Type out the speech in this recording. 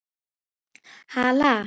Hala